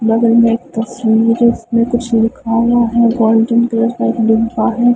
बगल में एक तस्वीर है उसमें कुछ लिखा हुआ है गोल्डन कलर का है।